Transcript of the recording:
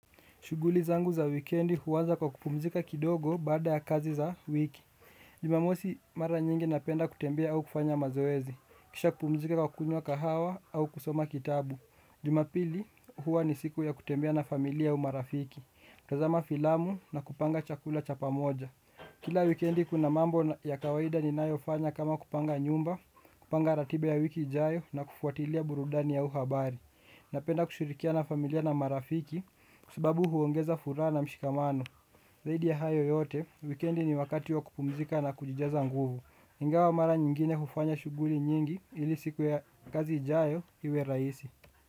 Shughuli zangu za wikendi huanza kwa kupumzika kidogo baada ya kazi za wiki. Jumamosi mara nyingi napenda kutembea au kufanya mazoezi. Kisha kupumzika kwa kunywa kahawa au kusoma kitabu. Jumapili huwa ni siku ya kutembea na familia au marafiki. Kutazama filamu na kupanga chakula cha pamoja. Kila wikendi kuna mambo ya kawaida ninayofanya kama kupanga nyumba, kupanga ratiba ya wiki ijayo na kufuatilia burudani au habari. Napenda kushirikia na familia na marafiki kwa subabu huongeza furaha na mshikamano zaidi ya hayo yote, wikendi ni wakati wa kupumzika na kujijaza nguvu ingawa mara nyingine hufanya shughuli nyingi ili siku ya kazi ijayo iwe rahisi.